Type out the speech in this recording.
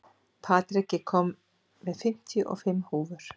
Patrik, ég kom með fimmtíu og fimm húfur!